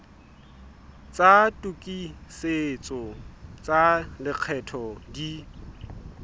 tsa tokisetso tsa lekgetho di